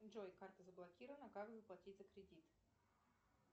джой карта заблокирована как заплатить за кредит